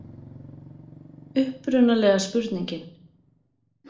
Upprunalega spurningin: